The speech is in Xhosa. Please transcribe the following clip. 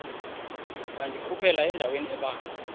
wandikhuphela endaweni ebanzi